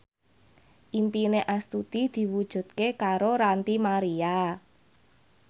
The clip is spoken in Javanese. impine Astuti diwujudke karo Ranty Maria